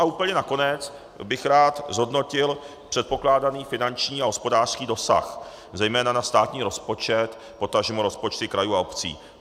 A úplně nakonec bych rád zhodnotil předpokládaný finanční a hospodářský dosah, zejména na státní rozpočet, potažmo rozpočty krajů a obcí.